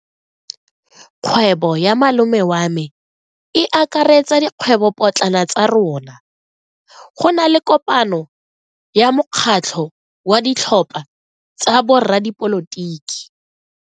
Kgwebo ya malome wa me e akaretsa dikgwebopotlana tsa rona. Go na le kopano ya mokgatlho wa ditlhopha tsa boradipolotiki.